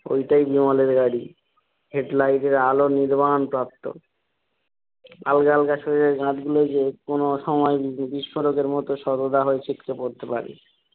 ঐটাই বিমলের গাড়ি হেডলাইটের আলো নির্মাণ প্রাপ্ত আলগা আলগা শরীরের গাঁটগুলো যে কোনো সময় বিস্ফোরকের মতো শতধা হয়ে ছিটকে পড়তে পারে।